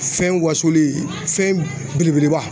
Fɛn wasolen fɛn belebeleba.